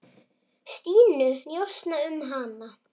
Stínu, njósna um hana.